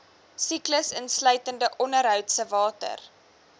siklus insluitende ondergrondsewater